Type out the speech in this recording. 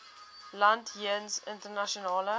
land jeens internasionale